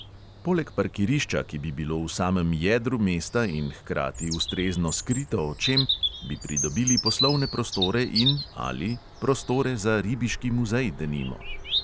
Poleg parkirišča, ki bi bilo v samem jedru mesta in hkrati ustrezno skrito očem, bi pridobili poslovne prostore in prostore za ribiški muzej, denimo.